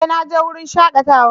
Eh! Na je wurin shakatawa